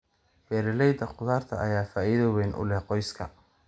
Beerashada khudaarta ayaa faa'iido weyn u leh qoyska.